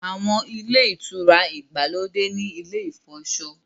Àwọn Ilé-ìtura ìgbàlódé ní ilè ifọṣọ.